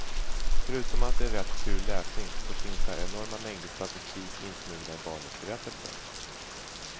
Förutom att det är rätt kul läsning så finns här enorma mängder statistik insmugna i barnens berättelser.